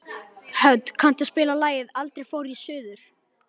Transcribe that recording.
Hödd, kanntu að spila lagið „Aldrei fór ég suður“?